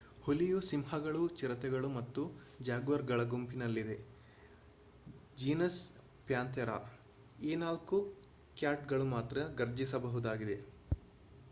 ಹುಲಿಯು ಸಿಂಹಗಳು ಚಿರತೆಗಳು ಮತ್ತು ಜಾಗ್ವಾರ್ಗಳ ಗುಂಪಿನಲ್ಲಿದೆ ಜೀನಸ್ ಪ್ಯಾಂಥೇರಾ. ಈ ನಾಲ್ಕು ಕ್ಯಾಟ್ ಗಳು ಮಾತ್ರ ಘರ್ಜಿಸಬಹುದಾಗಿದೆ